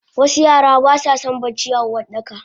wasu Yara baswason barci a Uwardakaba